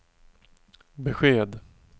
besked